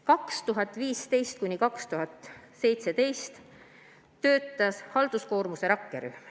2015–2017 töötas halduskoormuse rakkerühm.